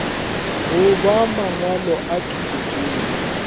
goba mangwalo a thuto tšeo